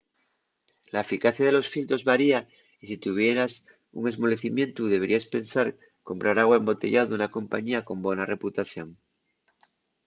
la eficacia de los filtros varia y si tuvieras un esmolecimientu deberíes pensar comprar agua embotellao d’una compañía con bona reputación